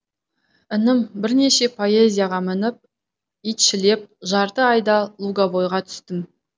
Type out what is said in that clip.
інім бірнеше поезияға мініп итшілеп жарты айда луговойға түстім